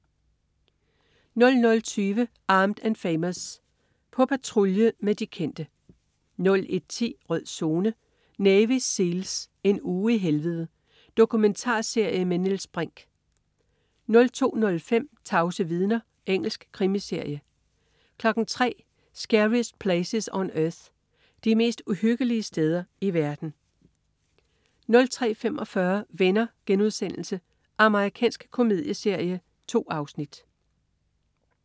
00.20 Armed & Famous. På patrulje med de kendte 01.10 Rød Zone: Navy SEALs. En uge i helvede. Dokumentarserie med Niels Brinch 02.05 Tavse vidner. Engelsk krimiserie 03.00 Scariest Places on Earth. De mest uhyggelige steder i verden 03.45 Venner.* Amerikansk komedieserie. 2 afsnit